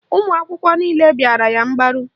Ụmụakwụkwọ niile bịara ya mgbaru